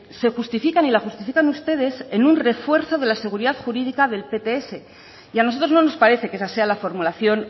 se justifican y la justifican ustedes en un refuerzo de la seguridad jurídico del pts a nosotros no nos parece que esa sea la formulación